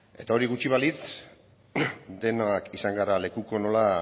hori gutxi balitz denok izan gara lekuko nola